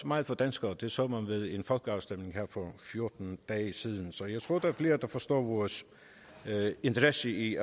meget for danskere det så man ved folkeafstemningen her for fjorten dage siden så jeg tror der er flere der forstår vores interesse i